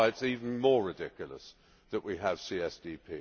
That is why it is even more ridiculous that we have CSDP.